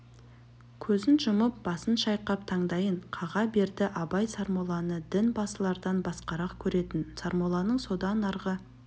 көзін жұмып басын шайқап таңдайын қаға берді абай сармолланы дін басылардан басқарақ көретін сармолланың содан арғы